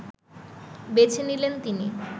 বেছে নিলেন তিনি